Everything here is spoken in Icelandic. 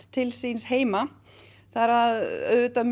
til síns heima það er auðvitað